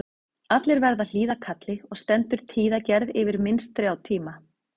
Allir verða að hlýða kalli og stendur tíðagerð yfir minnst þrjá tíma.